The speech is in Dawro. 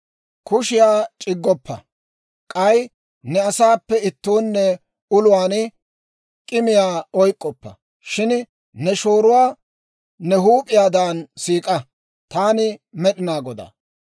« ‹Kushshiyaa c'iggoppa; k'ay ne asaappe ittoonne uluwaan k'immiyaa oyk'k'oppa. Shin ne shooruwaa ne huup'iyaadan siik'a. Taani Med'inaa Godaa.